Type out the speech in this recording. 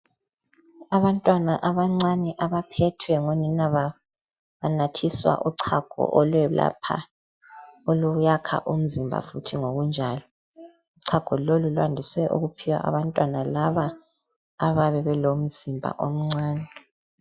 Abantwana abancane abaphethwe ngonina babo banathiswa uchago olwelapha oluyakha umzimba futhi ngokunjalo. Uchago lolu lwandise ukuphiwa abantwana laba ababe belomzimba omncane.